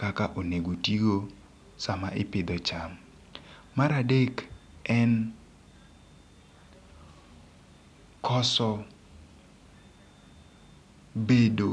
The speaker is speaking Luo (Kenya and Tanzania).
kaka onego otigo sa ma ipidho e cham. Mar adek en koso bedo